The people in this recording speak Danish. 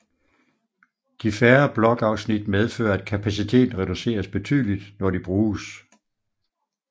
De færre blokafsnit medfører at kapaciteten reduceres betydeligt når de bruges